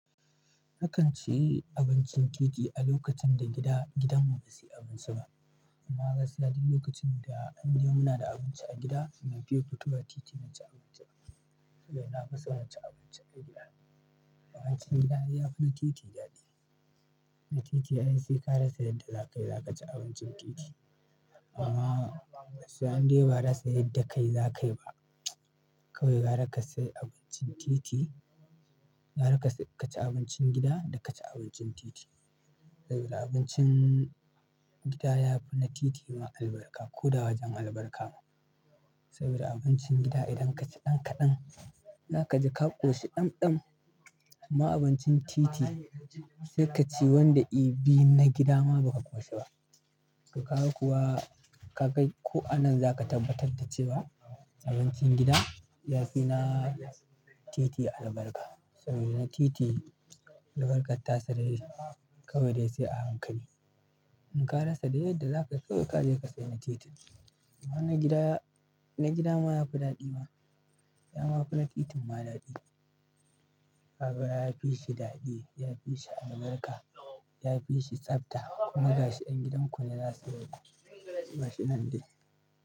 Nakan ci abincin titi a lokacin da gidan mu basu yi abinci ba amma gaskiya duk lokacin da an yi mu na da abinci a gida, ban fiye fitowa titi in ci abinci. Saboda na fi son inci abincin a gida. Wahalin gida ya fi na titi daɗi. Na titi ai sai ka rasa yadda za ka yi, za ka ci abincin titi. Kuma hadde ba rasa yadda zaka yi kayi ba kawai gyara ka sai abincin titi, gyara ka ci abincin gida da ka ci abincin titi. Saboda abincin gida ya fi na titi ma albarka ko da wajen albarka. Saboda abincin gida idan ka ci ɗan kaɗan, za ka ji ka ƙoshi ɗamɗam. Amma abincin titi sai ka ci wanda ibi na gida ma ba ka ƙoshi ba. To kaga kuwa ka kai ko anan za ka tabbatar da cewa abincin gida ya fi na titi albarka. Saboda na titi albarkar tasa dai kawai dai sai a hankali. In ka rasa da yadda za ka so ka je ka saya a titi. Amma na gida, na gida ma ya fi daɗi ma. Ya ma fi na titin ma daɗi. Saboda ya fi shi daɗi, ya fi shi albarka, ya fi shi tsabta. Kuma gashi ɗan gidan ku ne za su yi ba shi nan dai.